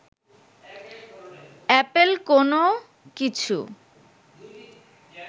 Apple কোনো কিছু